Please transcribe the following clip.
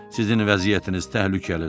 Sizin vəziyyətiniz təhlükəlidir.